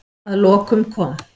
Að lokum kom